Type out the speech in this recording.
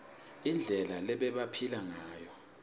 indlela lebebaphila ngayo